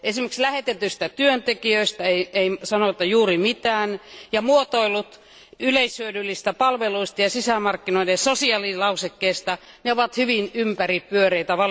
Esimerkiksi lähetetyistä työntekijöistä ei sanota juuri mitään ja muotoilut yleishyödyllisistä palveluista ja sisämarkkinoiden sosiaalilausekkeesta ovat valitettavasti hyvin ympäripyöreitä.